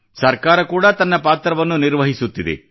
ಸರ್ಕಾರ ಕೂಡಾ ತನ್ನ ಪಾತ್ರವನ್ನು ನಿರ್ವಹಿಸುತ್ತಿದೆ